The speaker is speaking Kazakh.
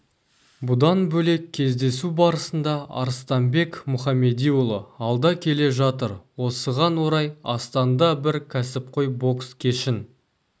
бұдан бөлек кездесу барысында арыстанбек мұхамедиұлы алда келе жатыр осыған орай астанда бір кәсіпқой бокс кешін